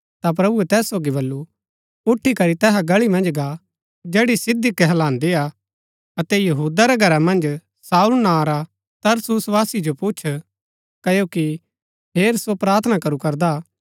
ता प्रभुऐ तैस सोगी बल्लू उठी करी तैहा गळी मन्ज गा जैड़ी सीधी कहलान्दिआ अतै यहूदा रै घरै मन्ज शाऊल नां रा तरसुसवासी जो पुछ क्ओकि हेर सो प्रार्थना करू करदा